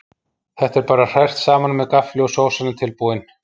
Þetta er bara hrært saman með gaffli og sósan er tilbúin.